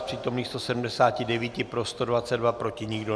Z přítomných 179, pro 122, proti nikdo.